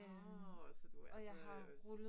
Åh, så du altså